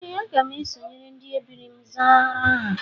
Ee, aga m esonyere ndị ebiri m zara aha